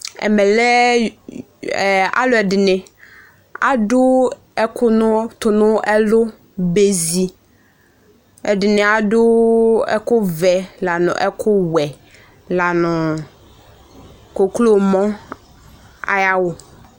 ɛmɛ lɛ aloɛdini ado ɛko no to no ɛló bezi ɛdini ado ɛkò vɛ la no ɛkò wɛ la no ɔwlɔmɔ ay'awu